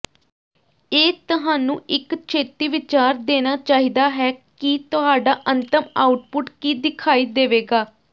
ਇਹ ਤੁਹਾਨੂੰ ਇੱਕ ਛੇਤੀ ਵਿਚਾਰ ਦੇਣਾ ਚਾਹੀਦਾ ਹੈ ਕਿ ਤੁਹਾਡਾ ਅੰਤਮ ਆਉਟਪੁੱਟ ਕੀ ਦਿਖਾਈ ਦੇਵੇਗਾ